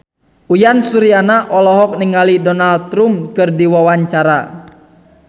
Uyan Suryana olohok ningali Donald Trump keur diwawancara